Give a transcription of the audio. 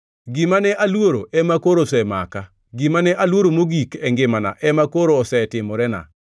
Gima ne aluoro ema koro osemaka; gima ne aluoro mogik e ngimana ema koro osetimorena.